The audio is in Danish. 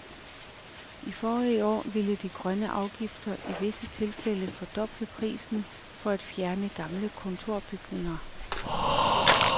I forrige år vil de grønne afgifter i visse tilfælde fordoble prisen på at fjerne gamle kontorbyggerier.